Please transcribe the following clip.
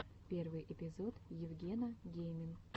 первый эпизод евгена геймин